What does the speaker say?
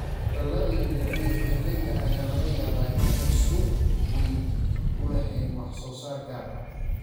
Hawlgallada yar yar ee beeralayda ayaa laga yaabaa inaanay suuq weyn u lahayn wax soo saar gaar ah.